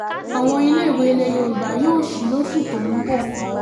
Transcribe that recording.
àwọn iléèwé ilẹ̀ yorùbá yóò sì lóṣù tó ń bọ̀